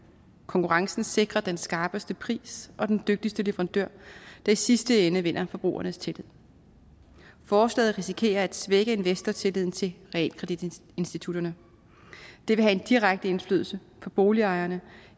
konkurrencen sikrer den skarpeste pris og den dygtigste leverandør der i sidste ende vinder forbrugernes tillid forslaget risikerer at svække investortilliden til realkreditinstitutterne og det vil have en direkte indflydelse på boligejerne